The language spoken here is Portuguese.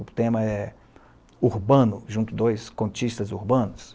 O tema é urbano, junto dois contistas urbanos.